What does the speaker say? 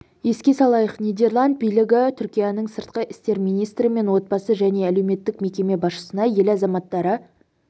еске салайық нидерланд билігі түркияның сыртқы істер министрі мен отбасы және әлеуметтік мекеме басшысына ел азаматтары